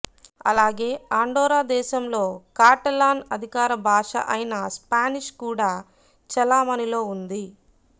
అలాగే ఆండొరా దేశంలో కాటలాన్ అధికార భాష అయినా స్పానిష్ కూడా చలామణిలో ఉంది